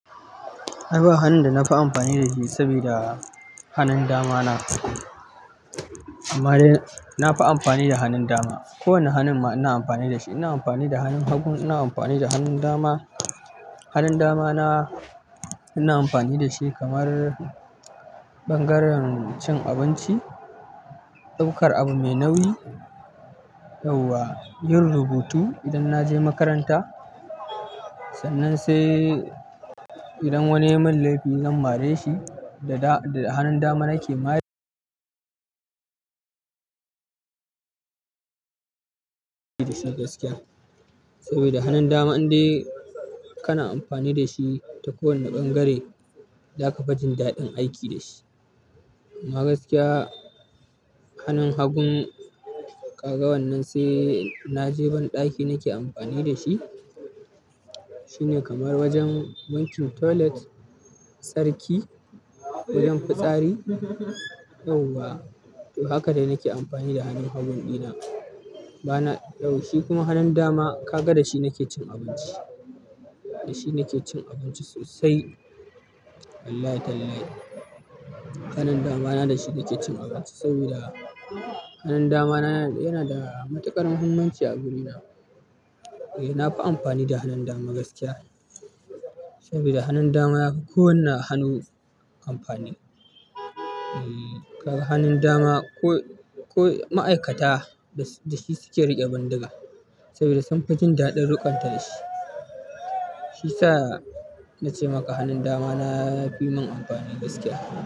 Ai ba hanun da na fi amfani da shi sabi da hannun dama na. Amma dai na fi amfani da hannun dama. Kowane hannun ma ina amfani da shi. Ina amfani da hannun hagu, ina amfani da hannun dama. Hannun dama na ina amfani da shi kamar ɓangaren cin abinci, ɗaukar abu mai nauyi, yauwa, yin rubutu idan na je makaranta. Sannan sai idan wani yai mun laifi zan mare shi da, da hannun dama nake ma- gaskiya. Saboda hannun dama in dai kana amfani da shi ta kowane ɓangare, zaka fi jin daɗin aiki da shi. Amma gaskiya hannun hagu ƙaga wannan sai na je ban ɗaki nake amfani da shi. Shi ne kamar wajen wankin toilet, tsarki, wajen fitsari, yauwa. To haka dai nake amfani da hannun hagu ɗina bana, shi kuma hannun dama kaga da shi nake cin abinci. Da shi nake cin abinci sosai. Wallahi tallahi. Hannun dama na da shi nake cin abinci saboda hannun dama na yana da matuƙar muhimmanci a guri na. Eh, na fi amfani da hannun dama gaskiya. Saboda hannun dama yafi kowane hannu amfani. Eh, hannun dama ko, ko ma'aikata da shi suke riƙe bindiga saboda sun fi jin daɗin riƙonta da shi. Shi sa na ce maka hannun dama na ya fi min amfani gaskiya.